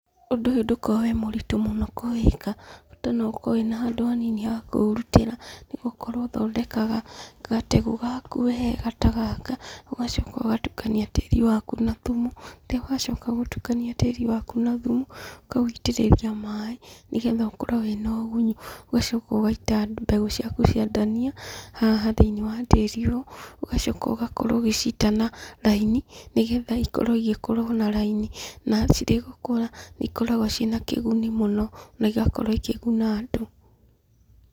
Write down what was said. Ũndũ ũyũ ndũkoragwo wĩ mũritũ mũno kũwĩka, bata no ũkorwo na handũ hanini ha kũũrutĩra, nĩgũkorwo ũthondekaga gategũ gaku wega ta gaka, ũgacoka ũgatukania tĩri wakũ na thumu. Rĩu wacoka gũtukania tĩri wakũ na thumu, ũkawĩitĩrĩria maaĩ, nĩgetha ũkorwo wĩna ũgunyu. Ũgacoka ũgaita mbegũ ciakũ cia ndania haha thĩiniĩ wa tĩri ũyũ, ĩgacoka ũgakorwo ũgĩciita na raini, nĩgetha ikorwo igĩkũra o na raini. Na cirĩ gũkũra, ikoragwo ciĩna kĩguni mũno, na igakorwo ikĩguna andũ.